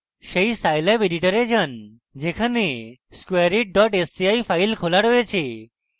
সেই scilab editor এ যান যেখানে squareit sci file খোলা রয়েছে